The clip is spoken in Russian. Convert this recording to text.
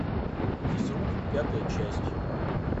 физрук пятая часть